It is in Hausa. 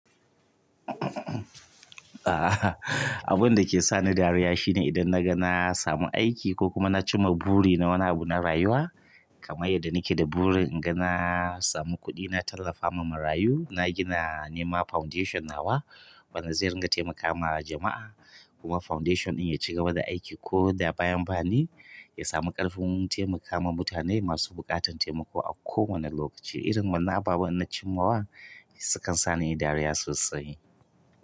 Abun da ke sa ni dariya shine idan na ga na samu aiki ko kuma na cimma buri na wani abu na rayuwa kamar yadda nike da buri inga na samu kuɗi na tallafa ma marayu. Na gina nema foundation na wa wanda zai ringa taimakawa jama'a kuma foundation ɗin ya ci gaba da aiki ko da bayan bani ya samu ƙarfin taimaka ma mutane masu buƙatar taimako a kowane lokaci. Irin wannan abubuwan na cimma wa sukan sa ni dariya sosai.